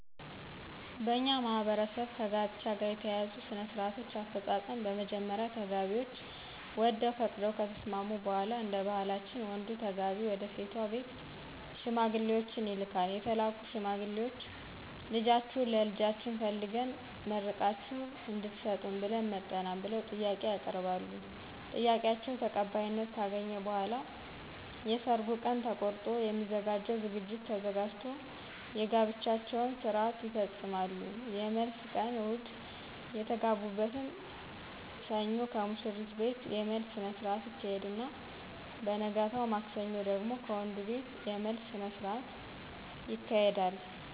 በእኛ ማህበረሰብ ከጋብቻ ጋር የተያያዙ ሥነ -ስርአቶች አፈጻጸም በመጀመሪያ ተጋቢዎች ወደው ፈቅደው ከተስማሙ በሗላ እደባህላችን ወንዱ ተጋቢ ወደሴቷ ቤት ሽማግሌዎችን ይልካል የተላኩት ሽማግሌዎች ልጃችሁን ለልጃችን ፈልገን መርቃችሁ እድትሰጡን ብለን መጠናል ብለው ጥያቄ ያቀርባሉ ጥያቄአቸው ተቀባይነት ካገኘ በሗላ የየሰርጉ ቀን ተቆርጦ የሚዘጋጀው ዝግጅት ተዘጋጅቶ የጋብቻቸውን ስርአት ይፈጾማሉ የመልስ ቀን እሁድ የተጋቡትን ሰኞ ከሙሽሪት ቤት የመልስ ስነስረአት ይካሄድና በነገታው ማክሰኞ ደግሞ ከወንዱቤት የመልስ ስነስርአት ይካሄዳል።